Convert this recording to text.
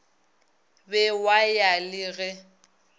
be wa ya le ge